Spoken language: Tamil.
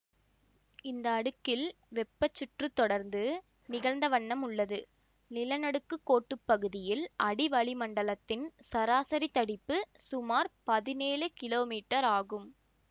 இந்த அடுக்கில் வெப்பச்சுற்றுத் தொடர்ந்து நிகழ்ந்தவண்ணம் உள்ளது நிலநடுக்கு கோட்டுப் பகுதியில் அடிவளிமண்டலத்தின் சராசரித் தடிப்பு சுமார் பதினேழு கிலோமீட்டர் ஆகும்